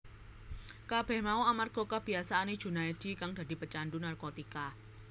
Kabeh mau amarga kabiyasaane Junaedi kang dadi pecandhu narkotika